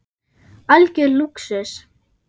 Algjör lúxus.